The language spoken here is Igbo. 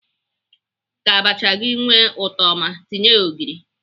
Ka abacha gị nwee ụtọ ọma, tinye ya ogịrị.